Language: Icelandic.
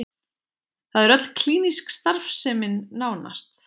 Það er öll klínísk starfsemin nánast